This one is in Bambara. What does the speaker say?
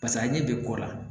Pasa a ɲɛ bɛ kɔ la